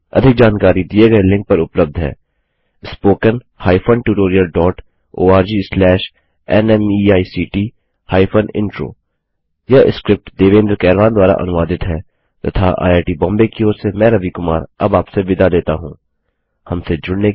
अधिक जानकारी दिए गए लिंक पर उपलब्ध है spoken hyphen tutorial dot ORG slash NMEICT hyphen intro